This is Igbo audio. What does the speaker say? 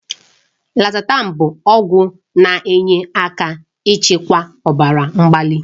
Losatan bụ ọgwụ na-enyere aka ịchịkwa ọbara mgbali.